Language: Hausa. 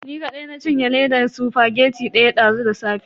Ni kadai na cinye ledan spaghetti daya dazu da safe.